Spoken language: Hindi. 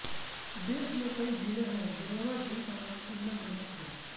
देश में कई झीले है जेनेवा झील का नाम इनमें प्रमुख है